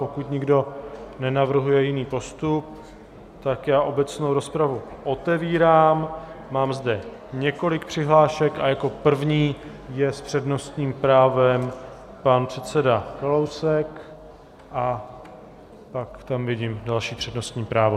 Pokud nikdo nenavrhuje jiný postup, tak já obecnou rozpravu otevírám, mám zde několik přihlášek a jako první je s přednostním právem pan předseda Kalousek a pak tam vidím další přednostní právo.